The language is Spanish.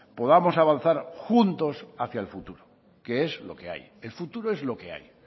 podamos avanzar juntos hacia el futuro que es lo que hay el futuro es lo que hay